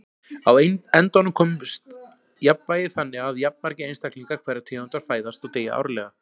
Á endanum kemst á jafnvægi þannig að jafnmargir einstaklingar hverrar tegundar fæðast og deyja árlega.